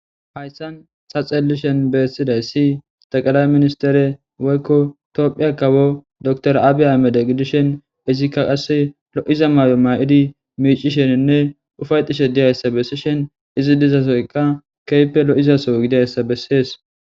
Hayssan saxelishen beessiday si taqalay ministere woykko toophiya kawo dor aabiya meda gidishen izikka qasse lo7iza may7o ma7idi miicisheninne ufayxishe diyayssa bessishen izi dizasoyka keype lo7izaso gidayssa bessees.